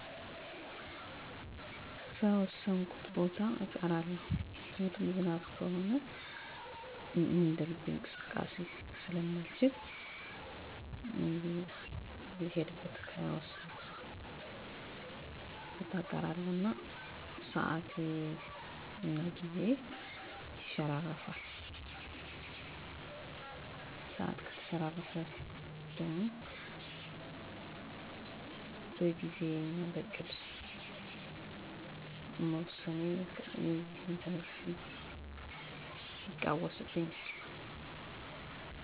አብዛኛውን ጊዜ አይለወጥም ሚለወጥባቸው አጋጣሚዎች በበዓላት ጊዜ ወደ ቤተሰብ በመሄድ የተወሰኑ ግዜዎች ስለማሳልፍ ከዕለት ተዕለት እንቅስቃሴየ እገደባለው ወይም ይለወጣል ሌላው ዝናባማ ወይም ደረቅ የሆነ የአየር ንብረት ሲኖር ዝናባማ ከሆነ ልሄድበት ካሰብኩት ወይም ከወሰንኩት ቦታ ለመድረስ ጥላ እጠቀማለሁ በጥላ ማልቋቋመው ከሆነ ቀኑን አስተላልፋለሁ የአየር ንብረቱ ደረቅ ወይም ፀሀያማ ከሆነ አብዛኛውን ጊዜ ከእንቅስቃሴ አልገደብም ወይም እንቅስቃሴየ አይለዋወጥም